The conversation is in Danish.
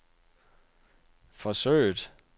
forsøget